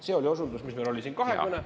See oli osundus, mis meil oli siin, kahekõne …